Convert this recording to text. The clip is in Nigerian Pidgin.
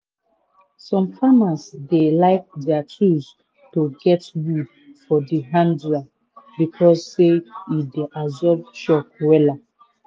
some farmers dey like dier tools to get wood for de hander becos say e dey absorb shock wela.